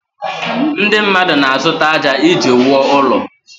Ndị mmadụ na-azụta ájá iji wuo ụlọ